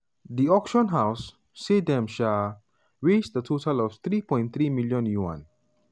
di auction house say dem um raised a total of 3.37m yuan.